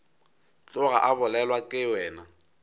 tloga a bolelwa ke wena